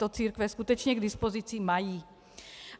To církve skutečně k dispozici mají.